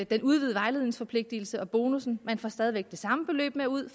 den udvidede vejledningsforpligtelse og bonussen man får stadig væk det samme beløb med ud